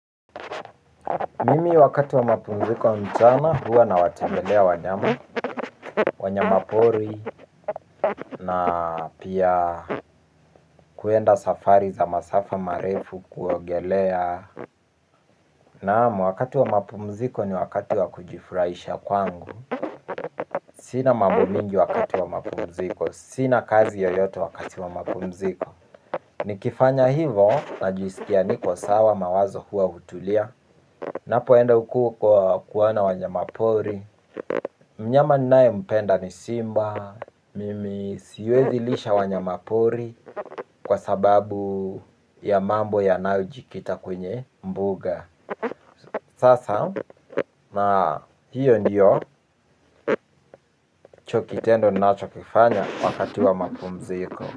Mimi wakati wa mapumziko mchana huwa nawatembelea wanyama, wanyamapori na pia kuenda safari za masafa marefu kuogelea. Naam, wakati wa mapumziko ni wakati wa kujifurahisha kwangu. Sina mambo mingi wakati wa mapumziko, sina kazi yoyote wakati wa mapumziko. Nikifanya hivo, najisikia niko sawa mawazo huwa hutulia. Napoenda huku kuwaona wanyamapori. Mnyama ninaempenda ni simba. Mimi siwezi lisha wanyamapori kwa sababu ya mambo yanayojikita kwenye mbuga. Sasa na hiyo ndicho kitendo ninachokifanya wakati wa mapumziko.